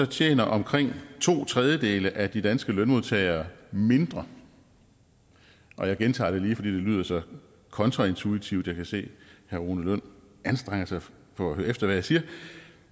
tjener omkring to tredjedele af de danske lønmodtagere mindre jeg gentager det lige fordi det lyder så kontraintuitivt jeg kan se herre rune lund anstrenger sig for at høre efter hvad jeg siger